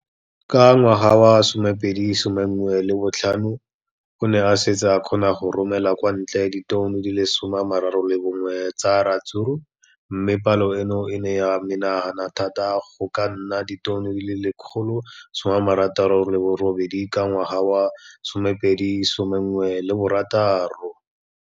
Ka ngwaga wa 2015, o ne a setse a kgona go romela kwa ntle ditone di le 31 tsa ratsuru mme palo eno e ne ya menagana thata go ka nna ditone di le 168 ka ngwaga wa 2016.